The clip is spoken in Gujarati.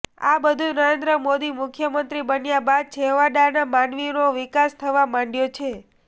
આ બધુ નરેન્દ્ર મોદી મુખ્યમંત્રી બન્યા બાદ છેવાડાના માનવીનો વિકાસ થવા માંડયો છે